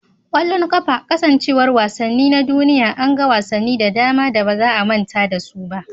ƙwallon ƙafa, kasancewar wasanni na duniya, an ga wasanni da dama da ba za a manta da su ba.